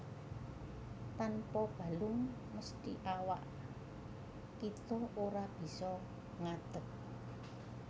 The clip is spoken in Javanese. Tanpa balung mesthi awak kita ora bisa ngadeg